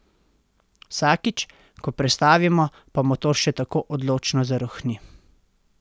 Vsakič, ko prestavimo, pa motor še tako odločno zarohni.